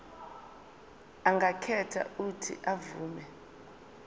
angakhetha uuthi avume